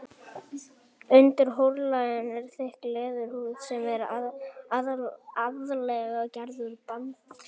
Undir hornlaginu er þykk leðurhúð sem er aðallega gerð úr bandvef.